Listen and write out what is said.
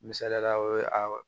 Misaliyala o ye a